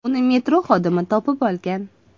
Uni metro xodimi topib olgan.